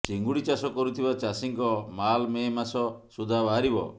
ଚିଙ୍ଗୁଡ଼ି ଚାଷ କରୁଥିବା ଚାଷୀଙ୍କ ମାଲ୍ ମେ ମାସ ସୁଦ୍ଧା ବାହାରିବ